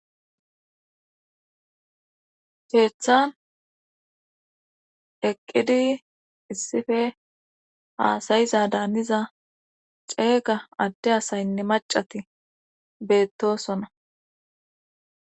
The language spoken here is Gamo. sheethan eqqidi issife haasayiza daaniza ceega adde asaynne macati beettosona